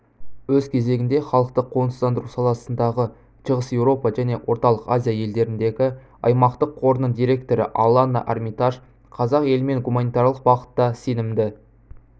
өз кезегінде халықты қоныстандыру саласындағы шығыс еуропа және орталық азия елдеріндегі аймақтық қорының директоры аланна армитаж қазақ елімен гуманитарлық бағытта сенімді